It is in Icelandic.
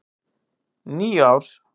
. níu ár!